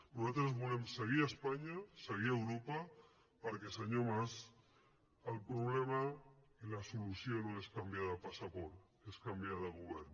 nosaltres volem seguir a espanya seguir a europa perquè senyor mas el problema i la solució no és canviar de passaport és canviar de govern